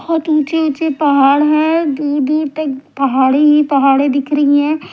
बहुत ऊंचे ऊंचे पहाड़ है दूर दूर तक पहाड़ी पहाड़े दिख रही है।